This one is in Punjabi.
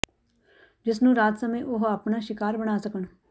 ਜਿਸ ਨੂੰ ਰਾਤ ਸਮੇਂ ਉਹ ਅਪਣਾ ਸ਼ਿਕਾਰ ਬਣਾ ਸਕਣ